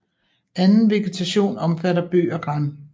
Anden vegetation omfatter bøg og gran